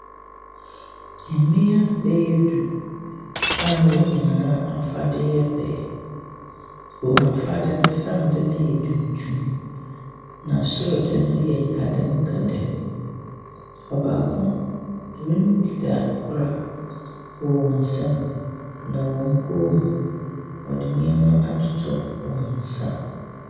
Mmea bɛyɛ du a wɔn nyinaa afadeɛ yɛ pɛ. Wɔn afade no, fam de no yɛ tuntum, na soro de no yɛ nkadam nkadam. Ɔbaako, wɔkita koraa wɔ wɔn nsam, na wɔn kɔn mu, wɔde nneɛma atoto wɔn nsa.